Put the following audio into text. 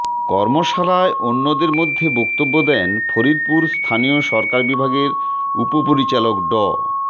কর্মশালায় অন্যদের মধ্যে বক্তব্য দেন ফরিদপুর স্থানীয় সরকার বিভাগের উপপরিচালক ড